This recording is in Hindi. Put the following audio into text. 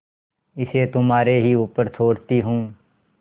इसे तुम्हारे ही ऊपर छोड़ती हूँ